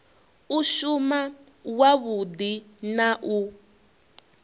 u shuma wavhudi na u